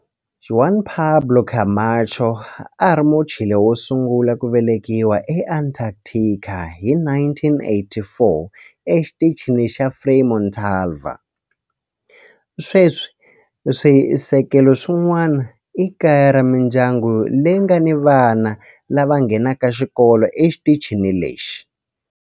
Juan Pablo Camacho a a ri Muchile wo sungula ku velekiwa eAntarctica hi 1984 eXitichini xa Frei Montalva. Sweswi swisekelo swin'wana i kaya ra mindyangu leyi nga ni vana lava nghenaka xikolo exitichini lexi.